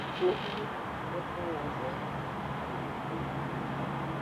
nĩ harĩ ũhoro o wothe wa bata kuuma kũrĩ tuko